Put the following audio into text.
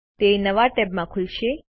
તે નવા ટેબ માં ખુલશે